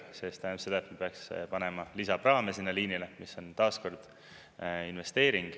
See tähendab seda, et me peaksime panema lisapraame sinna liinile, mis on taas kord investeering.